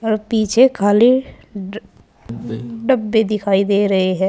और पीछे खाली ड डब्बे दिखाई दे रहे हैं।